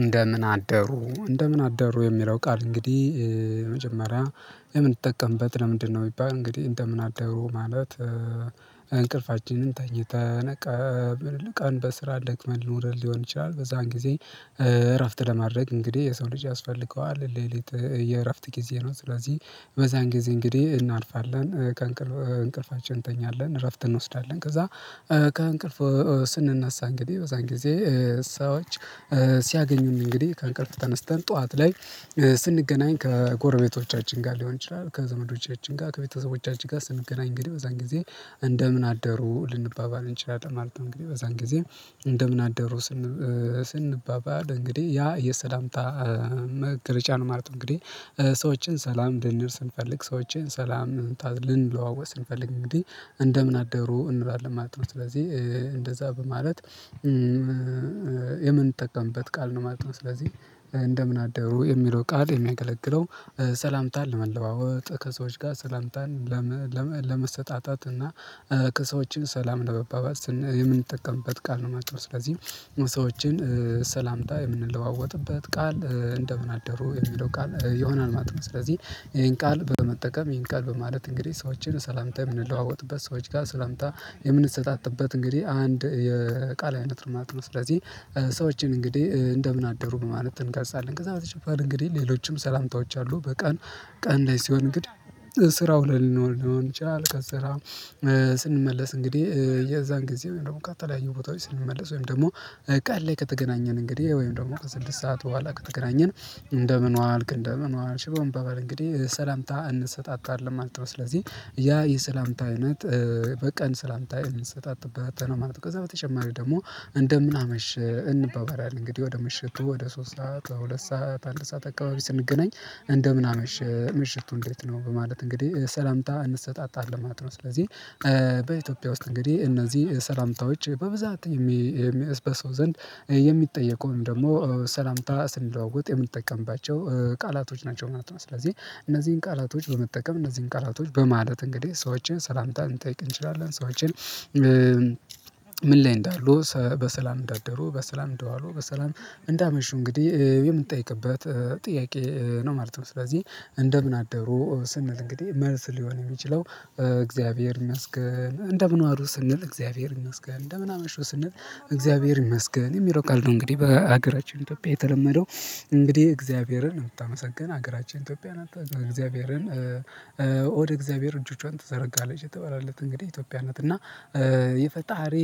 እንደምን አደሩ እንደምን አደሩ የሚረው ቃል እንግዲህ መጀመሪያ የምንጠቀምበት ለምንድነው? የሚባል እንግዲህ እንደምን አደሩ ማለት እንቅልፋችንን ተኝተን ቀን በስራ ደክ፣ መን ኖረን ሊሆን ይችላል። በዛን ጊዜ እረፍት ለማድረግ እንግዲህ የሰው ልጅ ያስፈልገዋል ሌሊት የእረፍት ጊዜ ነው። ስለዚህ በዛን ጊዜ እንግዲህ እናርፋለን ከእንቅልፋችን እንተኛለን እረፍት እንወስዳለን ከዛ ከእንቅልፍ ስንነሳ እንግዲህ በዛን ጊዜ እሳዎች ሲያገኙን እንግዲህ ከአንቀልፍ ተነስተን ጠዋት ላይ ስንገናኝ ከጎረቤቶቻችን ጋር ሊሆን ይችላል ከዘመዶቻችን ጋር ከቤተሰቦቻችን ጋር ስንገናኝ እንግዲህ በዛን ጊዜ እንደምን አደሩ ልንባባል እንችላለን ማለት ነው። እንግዲህ በዛን ጊዜ እንደምን አደሩ ስንባባል እንግዲህ ያ የሰላምታ መገለጫ ነው። ማለት እንግዲህ ሰዎችን ሰላም ልንል ስንፈልግ ሰዎችን ሰላም ልንለዋወጥ ስንፈልግ እንግዲህ እንደምን አደሩ እንላለን ማለት ነው። ስለዚህ እንደዛ በማለት የምንጠቀምበት ቃል ነው ማለት ነው። ስለዚህ እንደምን አደሩ የሚለው ቃል የሚያገለግለው ሰላምታን ለመለዋወጥ ከሰዎች ጋር ሰላምታን ለመሰጣጣት እና ከሰዎችን ሰላም ለመባባል ስንል የምንጠቀምበት ቃል ነው ማለት ነው። ስለዚህ ሰዎችን ሰላምታ የምንለዋወጥበት ቃል እንደምን አደሩ የሚለው ቃል የሆናል ማለት ነው። ስለዚህ ይሄን ቃል በመጠቀም ይሄን ቃል በማለት እንግዲህ ሰዎችን ሰላምታ የምንለዋወጥበት ሰዎች ጋር ስለምታ የምንሰጣጥበት እንግዲህ አንድ የቃል አይነት ርማት ነው። ስለዚህ ሰዎችን እንግዲህ እንደምን አደሩ በማለት እንገልፃለን ከዛ በተጨፈር እንግዲህ ሌሎችም ሰላምታዎች አሉ። በቀን ቀን ላይ ሲሆን እንግዲህ ስራ ውለን ሊሆን ይችላል ከስራም ስንመለስ እንግዲህ የዛን ጊዜ ወይም ደግሞ ከተለያዩ ቦታዎች ስንመለስ ወይም ደግሞ ቀን ላይ ከተገናኘን እንግዲህ ወይም ደግሞ ከስድስት ሰዓት በኋላ ከተገናኘን እንደምን ዋልክ እንደምን ዋልሽ በመባባል እንግዲህ ሰላምታ እንሰጣጣለን ማለት ነው። ስለዚህ ያ የሰላምታ አይነት በቀን ሰላምታ የምንሰጣጣበት ነው ማለት ነው። ከዛ በተጨማሪ ደግሞ እንደምን አመሸህ እንባባላለን እንግዲህ ወደ ምሽቱ ወደ ሶስት ሰዓት ሁለት ሰዓት አንድ ሰዓት አካባቢ ስንገናኝ እንደምን አመሸህ ምሽቱ እንዴት ነው በማለት እንግዲህ ሰላምታ እንሰጣጣለን ማለት ነው። ስለዚህ በኢትዮጵያ ውስጥ እንግዲህ እነዚህ ሰላምታ ወች በብዛት የሚ በሰው ዘንድ የሚጠየቁ ወይም ደግሞ ሰላምታ ስንለዋወጥ የምንጠቀምባቸው ቃላቶች ናቸው ማለት ነው። ስለዚህ እነዚህን ቃላቶች በመጠቀም እነዚህን ቃላቶች በማለት እንግዲህ ሰዎችን ሰላምታን ልንጠይቅ እንችላለን ሰዎችን ምን ላይ እንዳሉ በሰላም እንዳደሩ በሰላም እንደዋሉ በሰላም እንዳመሹ እንግዲህ የምንጠይቅበት ጥያቄ ነው ማለት ነው። ስለዚህ እንደምን አደሩ ስንል እንግዲህ መልስ ሊሆን የሚችለው እግዚአብሔር ይመስገን። እንደምን ዋሉ ስንል እግዚአብሔር ይመስገን እንደምን አመሹ ስንል እግዚአብሔር ይመስገን የሚለው ቃል ነው። እንግዲህ በሀገራችን ኢትዮጵያ የተለመደው እንግዲህ እግዚአብሔርን እምታመሰግነው ሀገራችን ኢትዮጵያ ናት እግዚአብሔርን ወደ እግዚአብሔር እጆቿን ትዘረጋለች የተባለላት እንግዲህ ኢትዮጵያ ናት እና የፈጣሪ